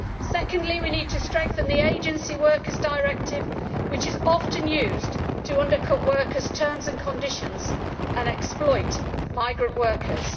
Secondly, we need to strengthen the Agency Workers Directive, which is often used to undercut workers' terms and conditions and to exploit migrant workers.